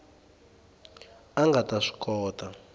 a nga ta swi kota